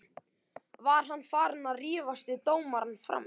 Var hann farinn að rífast við dómarana frammi?